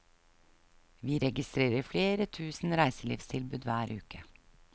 Vi registrerer flere tusen reiselivstilbud hver uke.